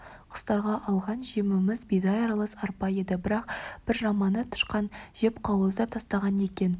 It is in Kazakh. құстарға алған жеміміз бидай аралас арпа еді бірақ бір жаманы тышқан жеп қауыздап тастаған екен